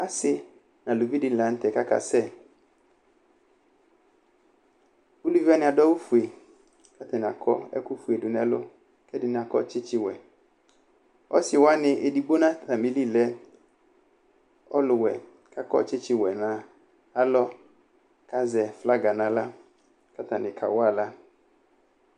Asɩ nʋ aluvi dɩnɩ la nʋ tɛ kʋ akasɛ Uluvi wanɩ adʋ awʋfue kʋ atanɩ akɔ ɛkʋfue dʋ nʋ ɛlʋ kʋ ɛdɩnɩ akɔ tsɩtsɩwɛ Ɔsɩ wanɩ, edigbo nʋ atamɩli lɛ ɔlʋwɛ kʋ akɔ tsɩtsɩwɛ nʋ alɔ kʋ azɛ flaga nʋ aɣla kʋ atanɩ kawa aɣla